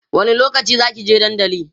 wani lokaci Zaki je dandali?